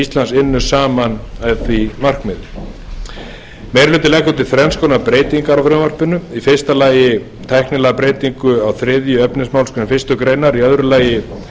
íslands vinni saman að því markmiði meiri hlutinn leggur til þrenns konar breytingar á frumvarpinu í fyrsta lagi tæknilega breytingu á þriðja efnismálsl fyrstu grein í öðru lagi